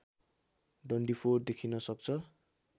डन्डीफोर देखिन सक्छ